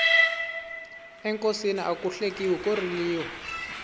enkosini aku hlekiwi ko riliwa